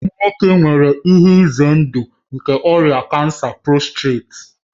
Ụmụ nwoke nwere ihe ize ndụ nke ọrịa kansa postireti